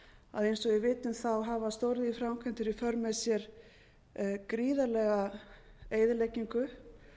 að eins og við vitum hafa stóriðjuframkvæmdir í för með sér gríðarlega eyðileggingu